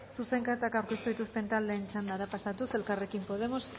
zuzenketak aurkeztu dituzten taldeen txandara pasatuz elkarrekin podemos